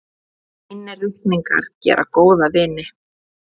Hreinir reikningar gera góða vini.